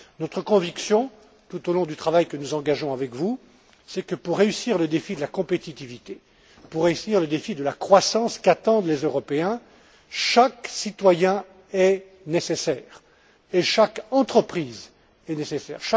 Notre conviction, tout au long du travail que nous engageons avec vous, c'est que, pour relever le défi de la compétitivité, pour relever le défi de la croissance qu'attendent les Européens, chaque citoyen est nécessaire et chaque entreprise est nécessaire.